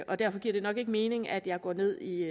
og derfor giver det nok ikke mening at jeg går ned i